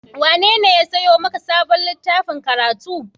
Wanene ya sayo maka sabon littafin karatu?